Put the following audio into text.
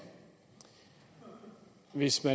venstre